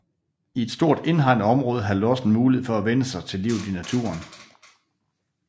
I et stort indhegnet område havde lossen mulighed for at vænne sig til livet i naturen